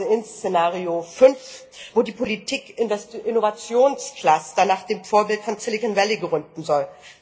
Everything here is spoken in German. Beispielsweise in Szenario 5, wo die Politik in das Innovationscluster nach dem Vorbild von Silicon Valley gerückt werden soll.